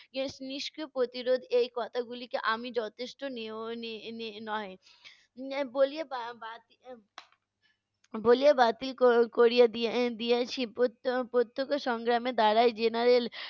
নিষ~ নিষ্ক্রিয় প্রতিরোধ এই কথাগুলিকে আমি যথেষ্ট নিয়ো~ নি~ নি~ নয়। এর বলিয়ে বা~ বা~ বাতি এর বলিয়ে বাতিল ক~ করিয়ে দি~ দিয়েছি প্রত্যক্ষ সংগ্রামের দ্বারাই general